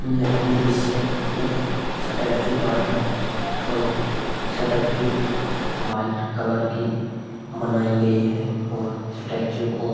यह दृश्य एक स्टैचू का है और स्टैचू व्हाइट कलर की बनाई गई है और स्टैचू को --